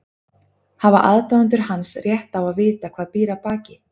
Hafa aðdáendur hans rétt á að vita hvað býr að baki?